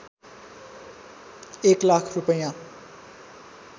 १ लाख रूपैया